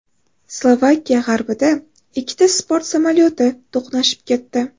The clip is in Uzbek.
Slovakiya g‘arbida ikkita sport samolyoti to‘qnashib ketdi.